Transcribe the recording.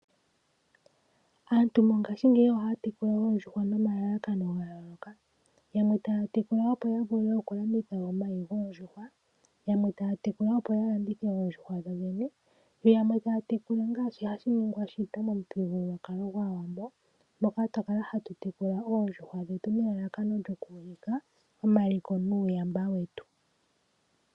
Aantu mongashingeyi ohaya tekula oondjuhwa nomalalakano gayooloka. Yamwe taya tekula opo yavule okulanditha e omayi goondjuhwa, yamwe taya tekula opo yalandithe oondjuhwa dhodhene, yo yamwe taya tekula ngaashi hashi ningwa shito momuthigululwakalo gwAawambo moka twakala hatu tekula oondjuhwa dhetu nelalakano lyokuulika omaliko nuuyamba wetu.